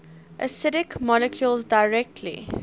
acidic molecules directly